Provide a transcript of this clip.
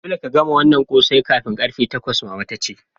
Dolle ka gama wanan kose kafin karfe takwas! mama ta ce.